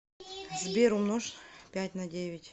сбер умножь пять на девять